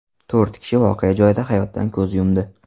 To‘rt kishi voqea joyida hayotdan ko‘z yumdi.